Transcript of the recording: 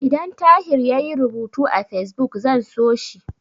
Idan Tahir yayi rubutu a Fesbuk, zan so shi.